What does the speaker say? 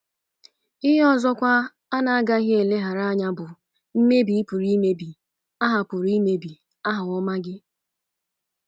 Ihe ọzọkwa a na-agaghị eleghara anya bụ mmebi ị pụrụ imebi aha pụrụ imebi aha ọma gị.